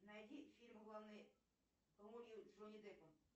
найди фильм в главной роли с джонни деппом